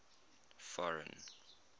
foreign